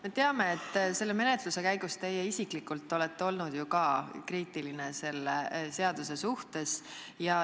Me teame, et selle menetluse käigus teie isiklikult olete ju ka olnud kriitiline selle seaduse suhtes.